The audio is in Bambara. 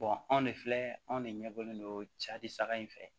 anw de filɛ anw de ɲɛbɔlen don cari saga in fɛ